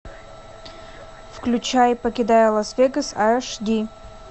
включай покидая лас вегас аш ди